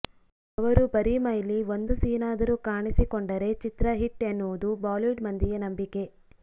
ಅವರು ಬರೀ ಮೈಲಿ ಒಂದು ಸೀನ್ ಆದರೂ ಕಾಣಿಸಿಕೊಂಡರೆ ಚಿತ್ರ ಹಿಟ್ ಎನ್ನುವುದು ಬಾಲಿವುಡ್ ಮಂದಿಯ ನಂಬಿಕೆ